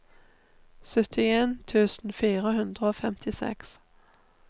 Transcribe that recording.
syttien tusen fire hundre og femtiseks